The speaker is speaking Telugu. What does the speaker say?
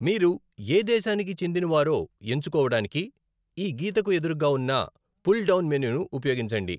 మీరు ఏ దేశానికి చెందినవారో ఎంచుకోవడానికి ఈ గీతకు ఎదురుగా ఉన్న పుల్ డౌన్ మెనూను ఉపయోగించండి.